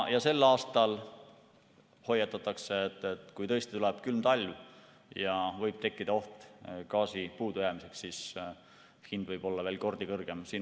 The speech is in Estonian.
Sel aastal hoiatatakse, et kui tõesti tuleb külm talv ja võib tekkida gaasi puudujäämise oht, siis hind võib olla veel mitu korda kõrgem.